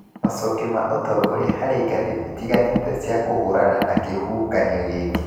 Macokio ma ũtongoria harĩ ngathĩ itiganĩte cia kũhũrana na kĩhuhũkanio gĩkĩ.